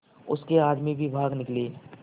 उसके आदमी भी भाग निकले